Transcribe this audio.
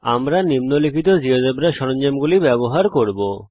আমরা নিম্নলিখিত জীয়োজেব্রা সরঞ্জামগুলি ব্যবহার করব